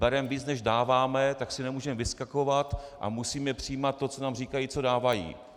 Bereme víc než dáváme, tak si nemůžeme vyskakovat a musíme přijímat to, co nám říkají, co dávají.